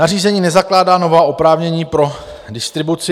Nařízení nezakládá nová oprávnění pro distribuci.